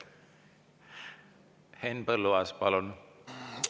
Henn Põlluaas, palun!